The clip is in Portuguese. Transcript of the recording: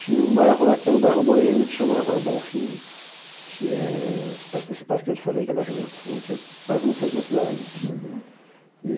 Tinha um bairro lá que era o bairro boêmio, que chamava Bom Fim, que é perto desse parque que eu te falei, que é da Redenção, que é quase no centro da cidade assim